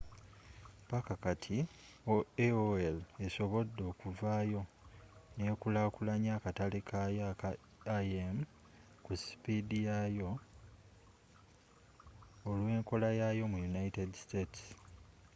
paka kati, aol esobodde okuvaayo nekulakulanya akatale kayo aka im ku sipiidi yayo olw’enkolayaayo mu united states